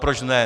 Proč ne?